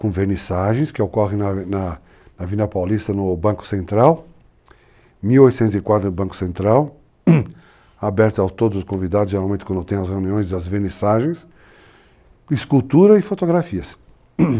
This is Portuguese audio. com venissagens, que ocorrem na Vila Paulista, no Banco Central, 1.800 quadros no Banco Central, aberto a todos os convidados, geralmente quando tem as reuniões, as venissagens, escultura e fotografias.